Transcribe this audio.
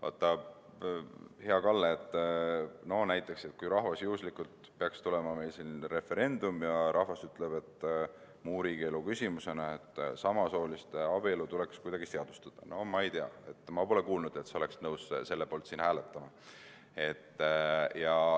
Vaata, hea Kalle, kui näiteks juhuslikult peaks meil tulema referendum ja rahvas ütleb muu riigielu küsimusele vastates, et samasooliste abielu tuleks kuidagi seadustada – no ma ei tea, ma pole kuulnud, et sa oleksid siis nõus selle poolt siin hääletama.